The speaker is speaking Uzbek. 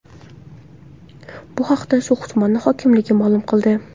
Bu haqda So‘x tumani hokimligi ma’lum qildi .